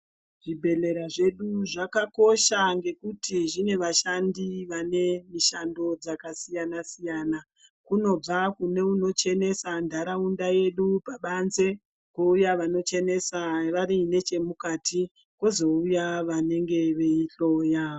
Zvibhedhlera zvedu zvakakosha ngekuti zvine vashandi vane mishando dzakasiyana-siyana. Kunobva neunochenesa ntaraunda yedu pabanze, kouya vanochenesa vari nechemukati, kozouya vanenge veihloya.